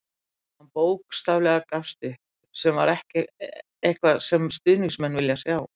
Hann bókstaflega gafst upp, sem er ekki eitthvað sem stuðningsmenn vilja sjá.